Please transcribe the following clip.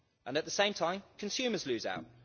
At the same time, consumers lose out.